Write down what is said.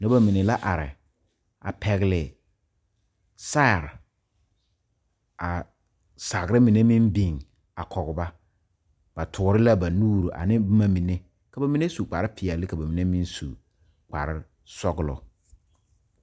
Noba mine la are a pɛgle saare a sagre mine meŋ biŋ a kɔge ba ba toore la ba nuuri a ne boma mine ka ba mine su kparepeɛle ka ba mine meŋ su kparesɔglɔ.